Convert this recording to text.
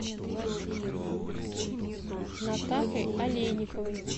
натахой олейниковой